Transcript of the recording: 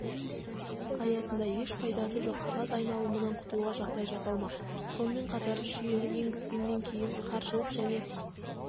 аясында еш пайдасы жоқ қағаз айналымынан құтылуға жағдай жасалмақ сонымен қатаржүйені енгізгеннен кейін қаржылық және